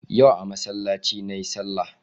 Yau a masallaci na yi salah